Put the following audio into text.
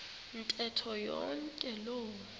ntetho yonke loo